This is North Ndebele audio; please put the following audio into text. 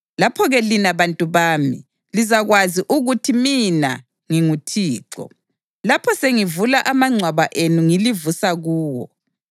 Lapho-ke, lina bantu bami, lizakwazi ukuthi mina nginguThixo, lapho sengivula amangcwaba enu ngilivusa kuwo.